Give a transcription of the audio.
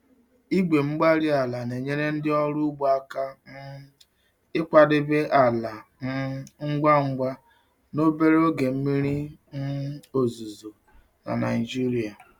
Igwe-mgbárí-ala na-enyere ndị ọrụ ugbo aka um ịkwadebe ala um ngwa ngwa n'obere oge mmiri um ozuzo na Nigeria.